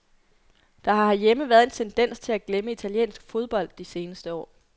Der har herhjemme været en tendens til at glemme italiensk fodbold de seneste år.